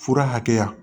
Fura hakɛya